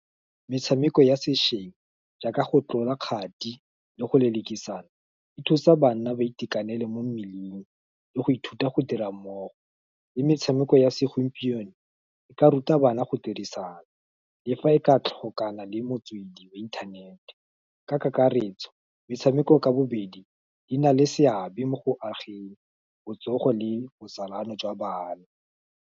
Metshameko ya sešeng, jaaka go tlola kgati, le go lelekisana, e thusa bana ba itekanele mo mmeleng, le go ithuta go dira mmogo, le metshameko ya segompieno, e ka ruta bana go dirisana, le fa e ka tlhokana le motswedi wa inthanete, ka kakaretso metshameko ka bobedi, di na le seabe mo go ageng botsogo le botsalano jwa bana.